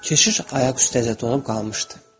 Keşiş ayaq üstə donub qalmışdı.